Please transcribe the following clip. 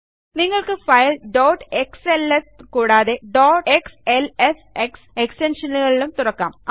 നിങ്ങൾക്ക് file dot XLS കൂടാതെ dot XLSX എക്സ്റ്റൻഷനുകളിലും തുറക്കാം